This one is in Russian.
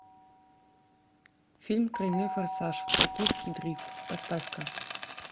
фильм тройной форсаж токийский дрифт поставь ка